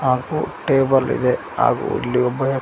ಹಾಗು ಟೇಬಲ್ ಇದೆ ಹಾಗು ಇಲ್ಲಿ ಒಬ್ಬ ಯ--